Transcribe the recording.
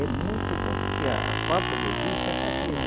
É muito bom, porque a a falta de vista é fraqueza.